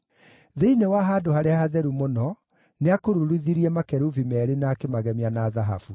Thĩinĩ wa Handũ-harĩa-Hatheru-Mũno nĩakururithirie makerubi meerĩ na akĩmagemia na thahabu.